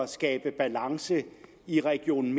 skabe balance i region